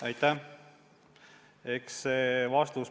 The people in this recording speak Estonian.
Aitäh!